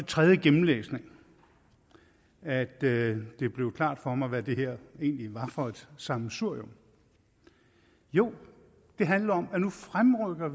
tredje gennemlæsning at det det blev klart for mig hvad det her egentlig var for et sammensurium jo det handler om at vi nu fremrykker